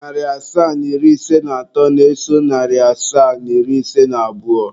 Narị asaa na iri ise na atọ na-eso narị asaa na iri ise na abụọ.